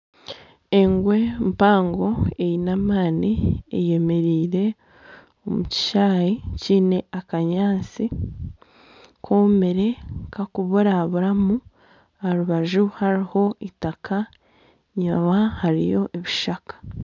Engwe mpango eine emaani eyemereire omu kishaayi kiine akanyaatsi koomire kakuburaburamu aha rubaju hariho eitaaka enyuma hariyo ebishaka.